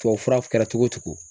Tuwawufura kɛra cogo o cogo